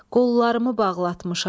Qollarımı bağlatmışam.